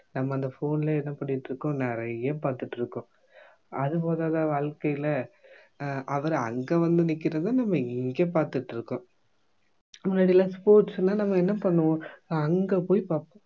நம்ம அந்த phone லயே என்ன பண்ணிட்டிருக்கோம் நிறைய பார்த்துட்டிருக்கோம் அது போதாதா வாழ்க்கையில அஹ் அவரு அங்க வந்து நிக்கிறதும் நம்ம இங்க பாற்த்திதுகிட்டிருக்கோம் முன்னாடி எல்லாம் sports னா நம்ம என்ன பண்ணுவோம் அங்க போய் பார்ப்போம்